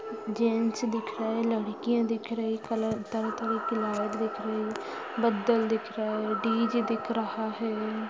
Gents दिख रहे हैं। लड़कियां दिख रही कलर तरह तरह की लाइट दिख रही है। बदल दिख रहा है। डीजे दिख रहा है।